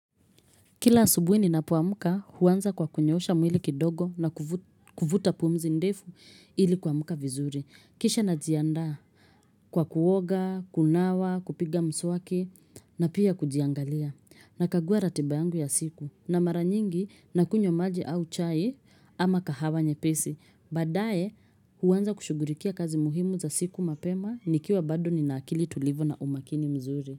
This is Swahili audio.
Kila asubuhi ninapoamka huanza kwa kunyoosha mwili kidogo na kuvuta pumzi ndefu ili kuamuka vizuri. Kisha najiandaa kwa kuoga, kunawa, kupiga mswaki na pia kujiangalia. Nakagua ratiba yangu ya siku na mara nyingi nakunywa maji au chai ama kahawa nyepesi. Badaaye huanza kushughulikia kazi muhimu za siku mapema nikiwa bado nina akili tulivu na umakini mzuri.